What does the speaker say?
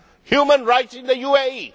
Human rights in the UAE.